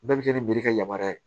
Bɛɛ bɛ kɛ ni mere ka yamaruya ye